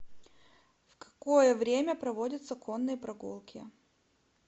в какое время проводятся конные прогулки